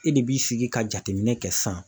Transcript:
E de b'i sigi ka jateminɛ kɛ sisan